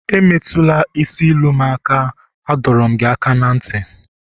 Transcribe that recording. emetula isi ilu m aka, adọrum gi aka na nti!